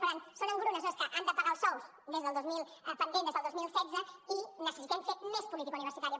per tant són engrunes no és que han de pagar els sous pendents des del dos mil setze i necessitem fer més política universitària